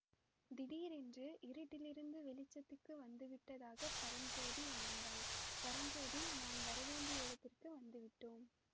திடீரென்று இருட்டிலிருந்து வெளிச்சத்துக்கு வந்துவிட்டதாகப் பரஞ்சோதி உணர்ந்தான் பரஞ்சோதி நாம் வரவேண்டிய இடத்துக்கு வந்து விட்டோம்